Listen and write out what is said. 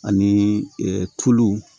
Ani tulu